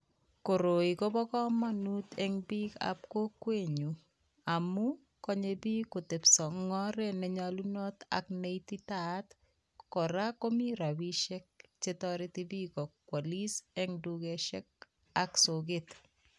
Koroi kobo kamanut eng biikab kokwenyu amu konye biik kotebiso eng oret ne nyalunot ak ne ititaat, kora komi rabiishiek chetoreti biik kokwalis eng dukoshek ak soket.